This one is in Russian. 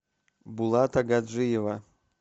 булата гаджиева